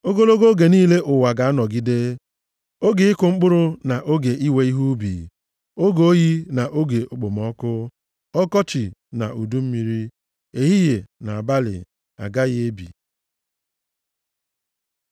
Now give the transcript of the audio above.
“Ogologo oge niile ụwa ga-anọgide, oge ịkụ mkpụrụ na oge iwe ihe ubi, oge oyi na oge okpomọkụ, ọkọchị na udu mmiri, ehihie na abalị, agaghị ebi.”